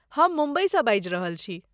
हम मुम्बईसँ बाजि रहल छी।